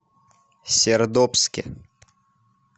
сердобске